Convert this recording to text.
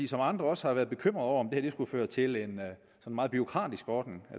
som andre også har været bekymrede over om det her skulle føre til en meget bureaukratisk ordning